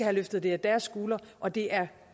det løftet af deres skuldre og det er